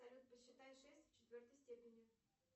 салют посчитай шесть в четвертой степени